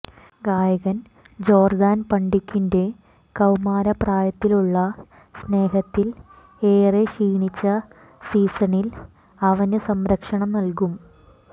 ഗായകൻ ജോർദാൻ പണ്ടിക്കിന്റെ കൌമാരപ്രായത്തിലുള്ള സ്നേഹത്തിൽ ഏറെ ക്ഷീണിച്ച സീസണിൽ അവനു സംരക്ഷണം നൽകും